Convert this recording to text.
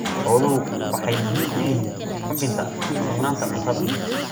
Xooluhu waxay muhiim u yihiin hubinta sugnaanta cuntada.